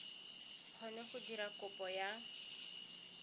kgone go dira kopo ya